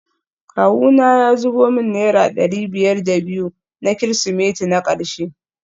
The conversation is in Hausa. Kawuna ya zubo min naira dari biyar da biyu na kirsimeti na karshe